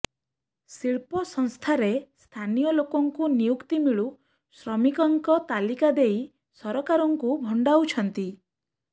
ଶିଳ୍ପ ସଂସ୍ଥାରେ ସ୍ଥାନୀୟ ଲୋକଙ୍କୁ ନିଯୁକ୍ତି ମିଳୁ ଶ୍ରମିକଙ୍କ ତାଲିକା ଦେଇ ସରକାରଙ୍କୁ ଭଣ୍ଡାଉଛନ୍ତି